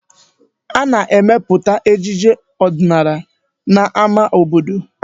Ana-emepụta ejije ọdịnala n'ámá obodo.